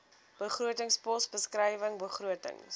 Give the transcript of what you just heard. begrotingspos beskrywing begrotings